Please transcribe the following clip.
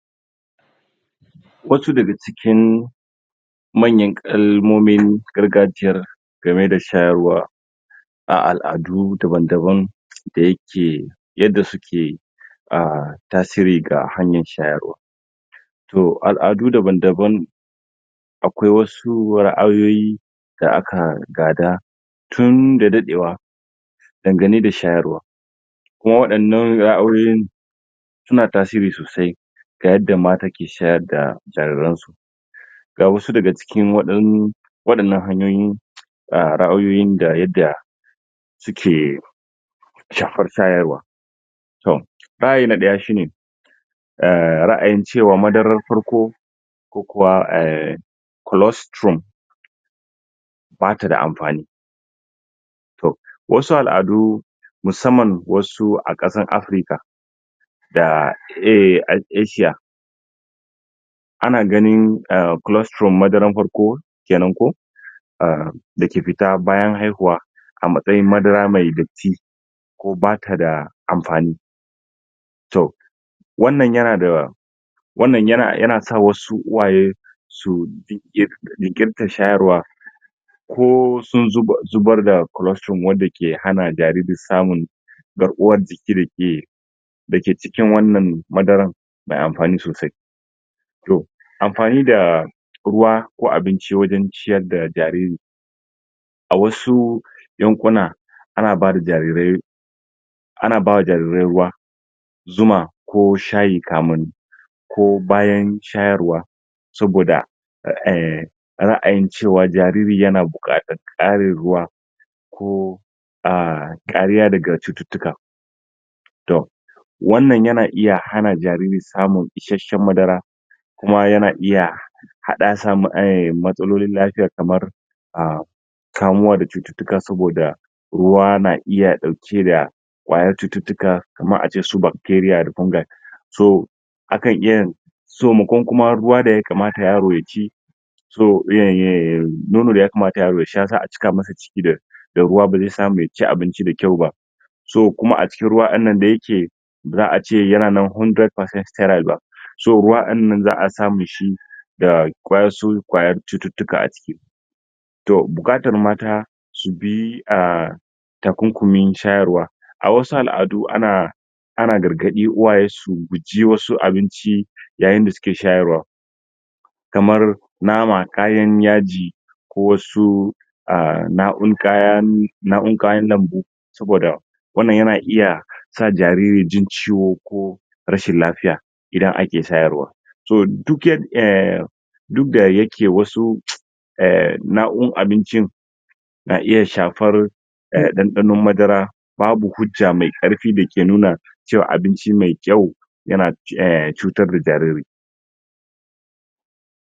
Wasu daga cikin manyan kalmomin gargajiya game da shayarwa shayarwa a al'adu daban-daban da yake yaddan suke da ah tasiri ga hanyar shayarwa To al'adu daban-daban akwai wasu ra'ayoyi da aka gada tun da dadewa dangane da shayarwa wadannan ra'ayoyin suna tasiri sosai ga yadda mata ke shayar da jariransu. Ga wasu daga cikin wadannan wadannan wane ra'ayoyin da yadda suke shafar shayarwa Ra'ayin na daya shine Ra'ayin cewa madarar farko farko ko kuwa ah colostrum baida amfani; to wasu al'adu musamman wasu a kasan Afrika da Asiya ana ganin ah colestoral madarar farko? ah dake fita bayan haihuwa a matsayin Madara mai datti datti ko bata da amfani toh wanna ya nada ah to wannan yana sa wasu uwaye su jinkirta shayarwa sai sun zubarda culustrom wanda hakan ke hana jariri samun garkuwan jiki dake cikin wannan madaran yayi amfani sosai. To amfani da ruwa ko abinci wajen ciyar da jariri; a wasu yankuna ana bada jarirai ana bada ruwa Zuma ko Shayi kamun ko bayan shayarwa, saboda ehh ra'ayin cewa jariri yana bukatar karin ruwa ko kariya daga cututtuka, toh to wannan yana iya hana jariri samun isasshen Madara kuma yana iya haddasa matsalolin lafiya kamar ah kamuwa da cututtuka saboda ruwa na iya dauke da kwayoyin cututtuka kamar su Bakteriya kume toh akan iye so mu kankuma ruwa da ye kamata yaro ye ki so biyan ye yaro ya sha, sai a cika masa ciki da da ruwa bazai samu yaci abinci da kyau ba, ko kuma a cikin ruwan wannan da yake ace yana a tsabtace dari bisa dari ba za'a iya samun shi shi da kwayar cututtuka a ciki. To ana bukatar mata su bi ahhh takunkumin shayarwa, a wasu al'adu ana ana gargadi iyaye su guji wasu abinci a yayin da suke shayarwa, kamar Nama, Kayan Yaji ko su ah naukun kaya nau'in kayan lambu saboda wannan yana iya sa jariri jin ciwo ko - rashin lafiya a yayin da ake shayarwa, duk da yake duk da yake wasu eh nau'in abincin na iya shafan dandanon Madara, babu hujja mai karfi dake nuna cewa abinci mai kyau yana cutar da jariri